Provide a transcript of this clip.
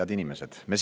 Head inimesed!